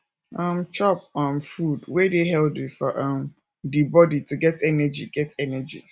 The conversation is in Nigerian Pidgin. um chop um food wey dey healthy for um di body to get energy get energy